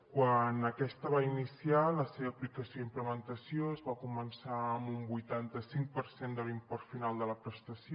quan aquesta va iniciar la seva aplicació i implementació es va començar amb un vuitanta cinc per cent de l’import final de la prestació